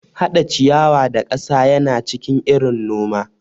Hada ciyawa da kasa yana cikin irin noma.